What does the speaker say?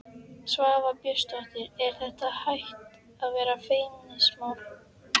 Svava Björnsdóttir: Er þetta hætt að vera feimnismál?